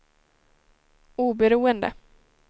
oberoende